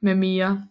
med mere